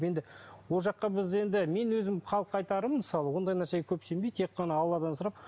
енді ол жаққа біз енді мен өзім халыққа айтарым мысалы ондай нәрсеге көп сенбей тек қана алладан сұрап